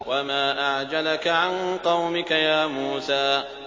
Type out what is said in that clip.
۞ وَمَا أَعْجَلَكَ عَن قَوْمِكَ يَا مُوسَىٰ